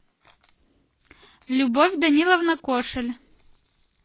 любовь даниловна кошель